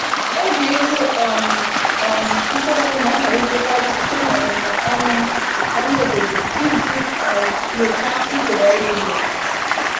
Oge ịkụ um um mkpụrụ na-amalitekarị site n’ọmụmụ ọnụ ọnụ obodo iji um nyochaa usoro ọrụ ugbo.